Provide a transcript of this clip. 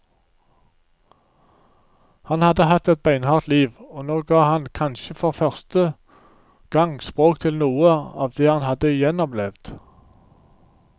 Han hadde hatt et beinhardt liv, og nå ga han kanskje for første gang språk til noe av det han hadde gjennomlevd.